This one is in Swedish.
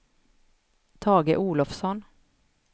Tage Olovsson